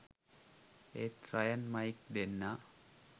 ඒත් Ryan Mike දෙන්නා